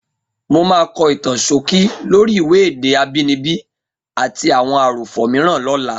Mo máa kọ ìtàn ṣókí lórí ìwé Èdè Àbínibí àti Àwọn Àròfọ̀ Mìíràn lọ́la.